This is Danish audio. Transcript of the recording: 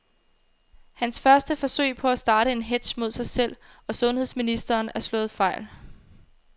Hans første forsøg på at starte en hetz mod sig selv og sundheds ministeren er slået fejl.